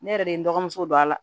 Ne yɛrɛ de ye n dɔgɔmuso don a la